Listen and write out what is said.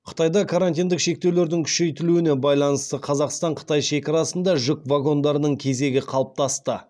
қытайда карантиндік шектеулердің күшейтілуіне байланысты қазақстан қытай шекарасында жүк вагондарының кезегі қалыптасты